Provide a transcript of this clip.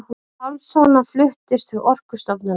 Pálmasonar fluttist til Orkustofnunar.